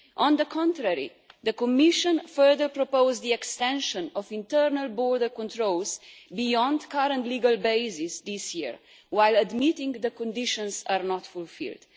On the contrary, the Commission further proposed the extension of internal border controls beyond the current legal basis this year, while admitting that the conditions are not fulfilled.